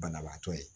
Banabaatɔ ye